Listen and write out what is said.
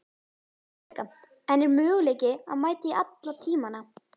Helga: En er möguleiki að mæta í alla tímana?